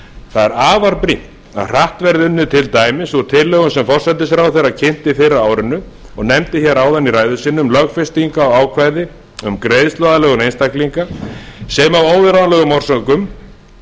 er afar brýnt að hratt verði unnið til dæmis úr tillögum sem forsætisráðherra kynnti fyrr á árinu og nefndi hér áðan í ræðu sinni um lögfestingu á ákvæði um greiðsluaðlögun einstaklinga sem af